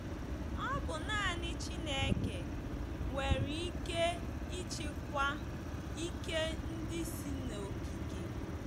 Ọ bụ nanị Chineke nwere ike ịchịkwa ike ndị si n’okike.